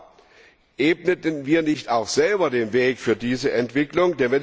Aber ebneten wir nicht auch selber den Weg für diese Entwicklung?